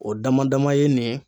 O dama dama ye nin ye